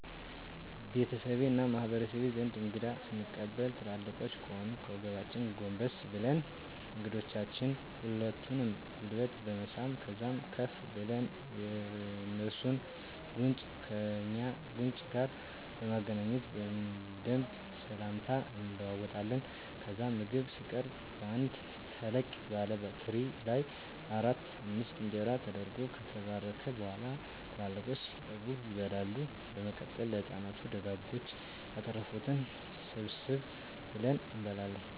ቤተሰቤ እና በማህበረሰቤ ዘንድ እንግዳ ስንቀበል ትላልቆቻችን ከሆኑ ከወገባችን ጎንበስ ብለን የእንግዶችን ሁለቱንም ጉልበት በመሳም ከዛም ከፍ ብለን የእንሱን ጉንጭ ከእኛ ጉንጭ ጋር በማገናኘት በደንብ ስላምታ እንለዋወጣለን። ከዛም ምግብ ሲቀረብ በአንድ ተለቅ ባለ ትሪ ላይ አራት አምስት እንጀራ ተደርጎ ከተባረከ በኋላ ትላልቆቹ እስኪጠገቡ ይበላል። በመቀጠል ለህፃናቱ ደጎች ያተረፋትን ሰብሰብ ብለን እንመገባለን።